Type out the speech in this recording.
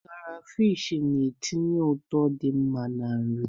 Krafish na-etinye ụtọ dị mma na-nri.